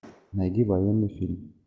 найди военный фильм